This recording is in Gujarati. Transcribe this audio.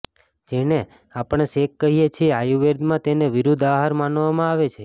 જેને આપણે શેક કહીએ છીએ આયુર્વેદમાં તેને વિરુદ્ધ આહાર માનવામાં આવે છે